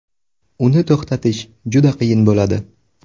Uni to‘xtatish juda qiyin bo‘ladi.